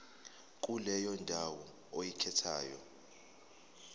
kuleyo ndawo oyikhethayo